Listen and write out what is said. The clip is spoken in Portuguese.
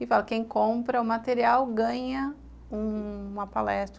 e fala que quem compra o material ganha uma palestra.